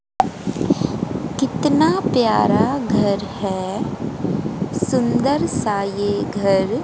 कितना प्यारा घर है सुंदर सा ये घर--